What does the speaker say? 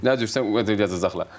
Nə cürsə yazacaqlar.